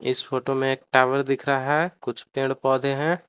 इस फोटो में एक टावर दिख रहा है कुछ पेड़ पौधे हैं।